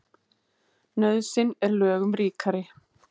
Nauðsyn er lögum ríkari.